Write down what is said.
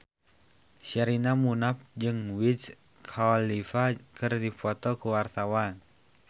Sherina Munaf jeung Wiz Khalifa keur dipoto ku wartawan